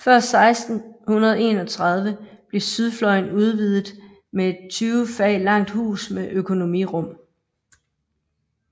Før 1631 blev sydfløjen udviddet med et 20 fag langt hus med økonomirum